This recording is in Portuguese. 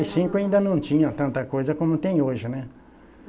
e cinco ainda não tinha tanta coisa como tem hoje, né?